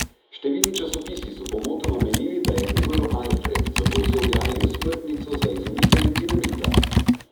Številni časopisi so pomotoma menili, da je umrl Alfred, zato so objavili osmrtnico za izumiteljem dinamita.